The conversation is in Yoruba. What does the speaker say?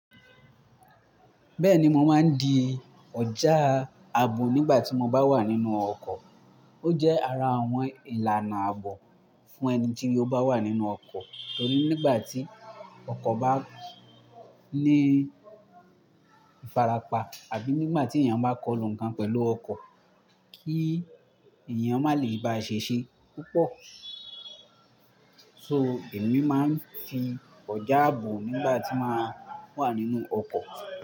Bẹ́ẹ̀ni, mo máa ń di ọjà ààbò nígbà tí mo bá wà nínú ọkọ̀. Ó jẹ́ ara àwọn ìlànà ààbò fún ẹni tí ó bá wà nínú ọkọ̀, torí nígbà tí ọkọ̀ bá ní ìfarapa àbí nígbà tí èèyàn bá kọ́ lu ǹkan pẹ̀lú ọkọ̀, kí èèyàn má lè báa ṣe ṣe púpọ̀. So, èmi máa ń fi ọjà ààbò nígbà tí màá wà nínú ọkọ̀